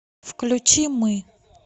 включи мы